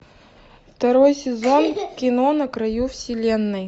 второй сезон кино на краю вселенной